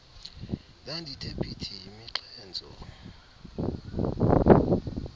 ndandithe phithi yimixhentso